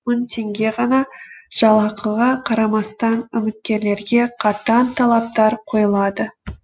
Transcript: мың теңге ғана жалақыға қарамастан үміткерлерге қатаң талаптар қойылады